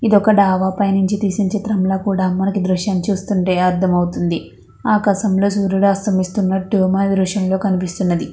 ఇది ఒక దాబా పైన తీసిన చిత్రం ల మనకి అర్ధం అవుతొంది ఆకాశంలో సూర్యుడు అస్తమిస్తున్నాడు నిరుతం లో కనిపిస్తున్నది.